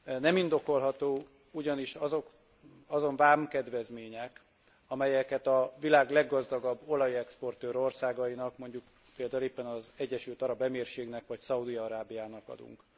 Nem indokolhatók ugyanis azon vámkedvezmények, amelyeket a világ leggazdagabb olajexportőr országainak, mondjuk például éppen az Egyesült Arab Emírségnek, vagy Szaúd Arábiának adunk.